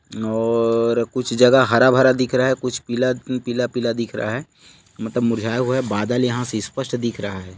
और कुछ जगह हारा-भरा दिख रहा है कुछ पीला-पीला दिख रहा है मतलब मुरझाया हुआ है बदल यहाँ से स्पष्ट दिख रहा है।